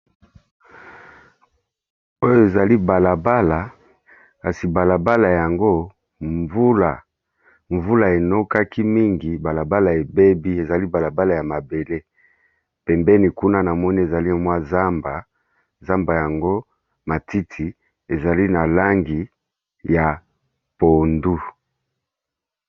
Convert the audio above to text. Oyo ezali bala bala kasi bala bala yango mvula, mvula enokaki mingi bala bala ebebi. Ezali bala bala ya mabele pembeni kuna na moni ezali mwa zamba, zamba yango matiti ezali na langi ya pondu.